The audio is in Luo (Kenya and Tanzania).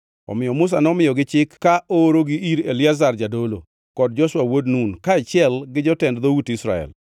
Omiyo Musa nomiyogi chik ka oorogi ir Eliazar jadolo, kod Joshua wuod Nun kaachiel gi jotend dhout Israel.